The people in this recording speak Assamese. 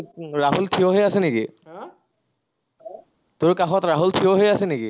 ৰাহুল ঠিয় হৈ আছে নেকি? তোৰ কাষত ৰাহুল ঠিয় হৈ আছে নেকি?